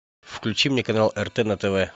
включи мне канал рт на тв